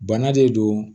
Bana de don